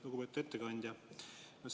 Lugupeetud ettekandja!